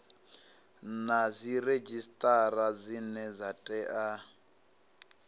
na dziredzhisitara dzine dza tea